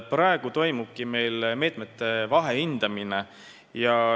Praegu toimubki meil meetmete vahehindamine.